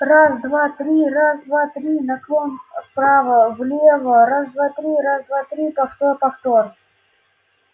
раз-два-три раз-два-три наклон вправо влево раз-два-три раз-два-три повтор-повтор